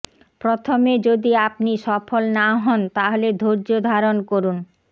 প্রথমে যদি আপনি সফল না হন তাহলে ধৈর্য্য ধারণ করুন